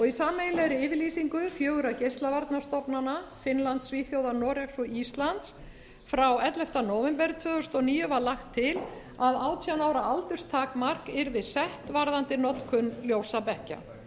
í sameiginlegri yfirlýsingu fjögurra geislavarnastofnana finnlands svíþjóðar noregs og íslands frá elleftu nóvember tvö þúsund og níu var lagt til að átján ára aldurstakmark gerð sett varðandi notkun ljósabekkja